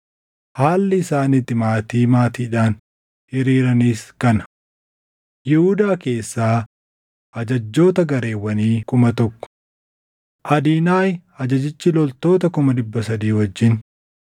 Haalli isaan itti maatii maatiidhaan hiriiranis kana: Yihuudaa keessaa ajajjoota gareewwanii 1,000: Adinaahi ajajjichi loltoota 300,000 wajjin;